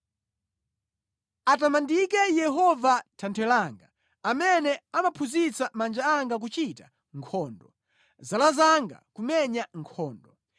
Atamandike Yehova Thanthwe langa, amene amaphunzitsa manja anga kuchita nkhondo; zala zanga kumenya nkhondo.